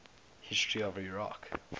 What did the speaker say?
history of iraq